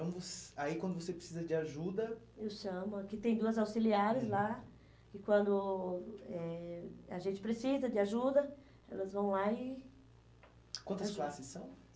Então, aí quando você precisa de ajuda... Eu chamo, é que tem duas auxiliares lá, e quando eh a gente precisa de ajuda, elas vão lá e... ajudam. Quantas classes são?